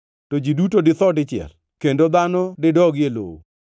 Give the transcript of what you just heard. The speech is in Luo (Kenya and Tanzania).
to ji duto ditho dichiel kendo dhano didogi e lowo.